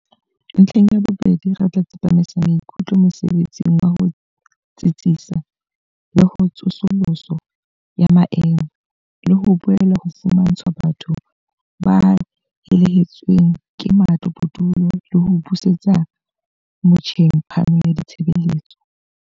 "Ntlheng ya bobedi, re tla tsepamisa maikutlo mosebetsing wa ho tsitsisa le ho tsosoloso ya maemo, le ho boela ho fumantshwa batho ba helehetsweng ke matlo bodulo le ho busetsa motjheng phano ya ditshebeletso."